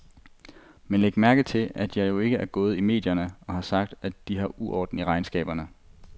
Men læg mærke til, at jeg jo ikke er gået i medierne og har sagt, at de har uorden i regnskaberne.